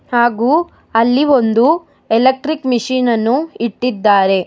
ಹಾಗು ಅಲ್ಲಿ ಒಂದು ಎಲೆಕ್ಟ್ರಿಕ್ ಮಷೀನ್ ಅನ್ನು ಇಟ್ಟಿದ್ದಾರೆ.